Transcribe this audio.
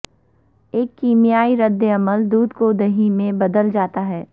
ایک کیمیائی ردعمل دودھ کو دہی میں بدل جاتا ہے